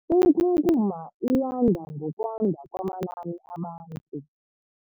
Inkunkuma iyanda ngokwanda kwamanani abantu.